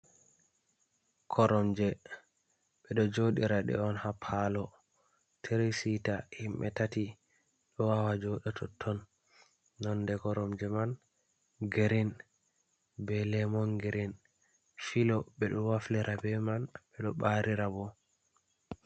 Koromje ɓeɗo joɗira ɗe on ha palo. Tri-sita himɓe tati ɗo wawa joɗa totton. Nonde koromje man girin be lemon girin. Filo ɓeɗo waflira be man, ɓeɗo ɓarira bo.